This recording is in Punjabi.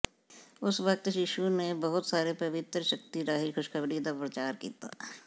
ਉਸ ਵਕਤ ਯਿਸੂ ਨੇ ਬਹੁਤ ਸਾਰੇ ਪਵਿੱਤਰ ਸ਼ਕਤੀ ਰਾਹੀਂ ਖੁਸ਼ਖਬਰੀ ਦਾ ਪਰਚਾਰ ਕੀਤਾ